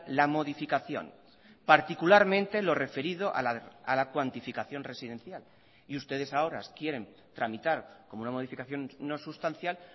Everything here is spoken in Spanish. la modificación particularmente lo referido a la cuantificación residencial y ustedes ahora quieren tramitar como una modificación no sustancial